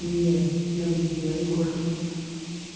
не навредила егорке